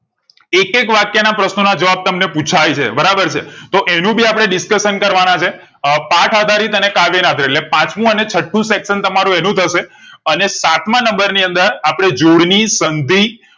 એક એક વાક્ય ના પ્રશ્નો ના જવાબ તમે ને પુછાય છે બરાબર છે તો એનું ભી અપને discussion ના છે અ પાથ આધારિત અને કાવ્ય ને આધારિત એટલે પાંચમું અને છઠ્ઠું section તમારું એનું થશે અને સાત માં number ની અંદર આપણે જોડની સંધિ